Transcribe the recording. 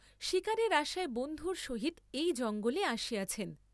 শীকারের আশায় বন্ধুর সহিত এই জঙ্গলে আসিয়াছেন।